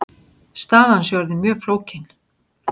Staðan sé orðin mjög flókin.